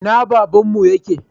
Ina babanmu yake?